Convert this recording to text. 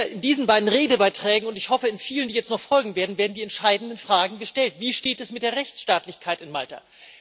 In diesen beiden Redebeiträgen und ich hoffe in vielen, die jetzt noch folgend werden werden die entscheidenden Fragen gestellt Wie steht es mit der Rechtsstaatlichkeit in Malta?